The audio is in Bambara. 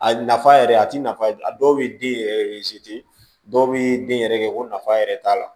A nafa yɛrɛ a ti nafa a dɔw bɛ den yɛrɛ dɔw bɛ den yɛrɛ kɛ ko nafa yɛrɛ t'a la